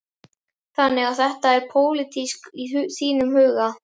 Þannig að þetta er pólitískt í þínum huga?